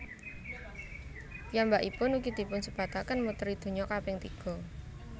Piyambakipun ugi dipunsebataken muteri donya kaping tiga